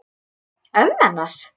Ömmu hennar?